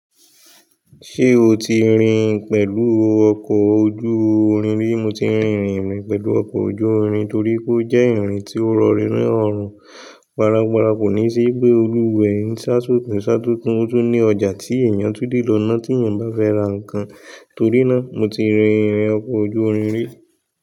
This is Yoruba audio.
Ṣé o ti rin pẹ̀lú ọkọ̀ ojú-irin rí? Mo ti rin ìrìn ri pẹ̀lú ọkọ̀ ojú-irin torí pé ó jẹ́ ìrìn tí ó rọni ni rọ̀rùn. Gbaran gbaran kò ní sí wipe Olú wo eyin sá tó tún sá tó tún ó tún ní ọjà tí èèyàn tún lé lọ náà tí èèyàn o bá fẹ́ ra nǹkan. Torí náà, mo ti rin ìrìn ọkọ̀ ojú-irin rí.